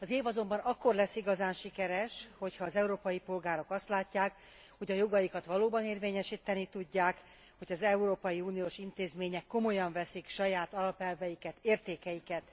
Az év azonban akkor lesz igazán sikeres, ha az európai polgárok azt látják, hogy a jogaikat valóban érvényesíteni tudják, hogy az európai uniós intézmények komolyan veszik saját alapelveiket, értékeiket.